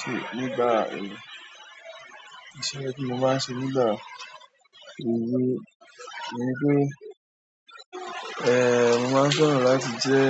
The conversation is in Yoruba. Ṣe nígbà èèyàn, ìṣe tí mo máa ṣe nígbà ìbí mi ni pé, eh mo máa ń fẹ́ràn láti jẹ́